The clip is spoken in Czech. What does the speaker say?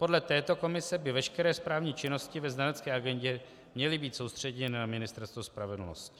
Podle této komise by veškeré správní činnosti ve znalecké agendě měly být soustředěny na Ministerstvo spravedlnosti.